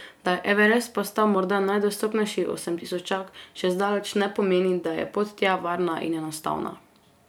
To, da je Everest postal morda najdostopnejši osemtisočak, še zdaleč ne pomeni, da je pot tja varna in enostavna.